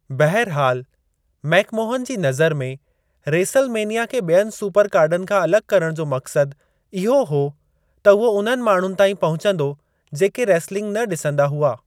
बहिरहाल, McMahon जी नज़र में, रेसुल मेनिया खे ॿियनि सुपर कार्डन खां अलॻि करणु जो मक़्सदु इहो हो त उहो उन्हनि माण्हुनि ताईं पहुचंदो, जेके रेसलिंग न ॾिसंदा हुआ।